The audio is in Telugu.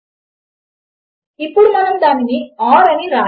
కనుక మనము దీనిని కంపైల్ చేస్తే దాని ఫలితము ఏమి అవుతుంది అని మీరు అనుకుంటున్నారు